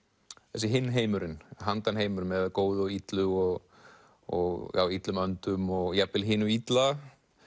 þessi hinn heimurinn með góðu og illu og og illum öndum og jafnvel hinu illa